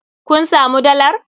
Kun samu dalar?